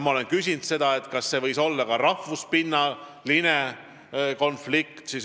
Ma olen küsinud, kas see võis olla konflikt rahvuse pinnal.